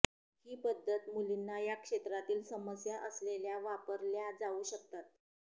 ही पद्धत मुलींना या क्षेत्रातील समस्या असलेल्या वापरल्या जाऊ शकतात